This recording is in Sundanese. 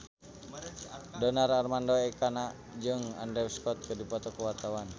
Donar Armando Ekana jeung Andrew Scott keur dipoto ku wartawan